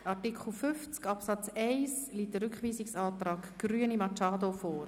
Zu Artikel 50 Absatz 1 liegt ein Rückweisungsantrag Grüne/Machado vor.